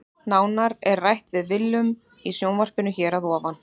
Nánar er rætt við Willum í sjónvarpinu hér að ofan.